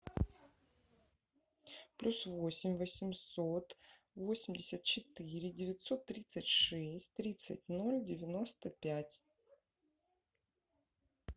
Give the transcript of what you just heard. плюс восемь восемьсот восемьдесят четыре девятьсот тридцать шесть тридцать ноль девяносто пять